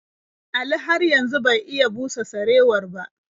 Ali har yanzu bai iya busa sarewar ba.